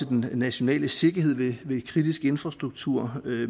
den nationale sikkerhed ved kritisk infrastruktur ved